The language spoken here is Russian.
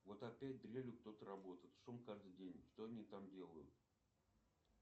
вот опять дрелью кто то работает шум каждый день что они там делают